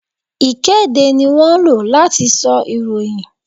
Ìkéde ni wón ńlò láti sọ ìròyìn